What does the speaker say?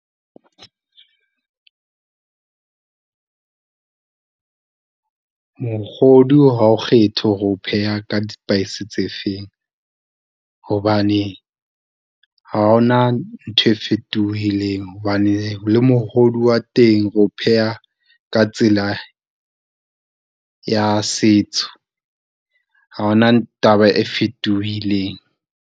Mokgodu ha o kgethe hore o ho pheha ka di-spice tse feng, hobane ha ho na ntho e fetohileng. Hobane le mohodu wa teng o ho pheha ka tsela ya setso, ha ho na taba e fetohileng.